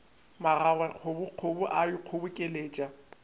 magage kgobokgobo e a ikgobokeletša